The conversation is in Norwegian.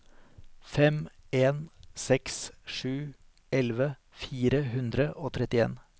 fem en seks sju elleve fire hundre og trettien